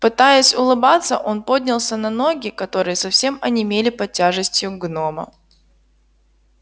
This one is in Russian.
пытаясь улыбаться он поднялся на ноги которые совсем онемели под тяжестью гнома